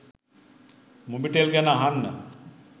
මොබිටෙල් ගැන අහන්න